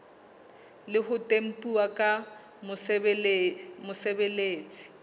le ho tempuwa ke mosebeletsi